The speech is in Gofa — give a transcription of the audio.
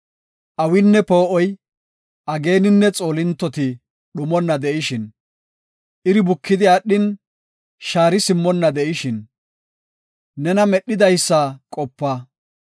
awinne poo7oy, ageeninne xoolintoti dhumonna de7ishin, iri bukidi aadhin, shaari simmonna de7ishin, nena medhidaysa qopa.